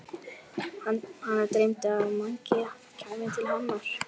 Hana dreymdi að Mangi kæmi til hennar.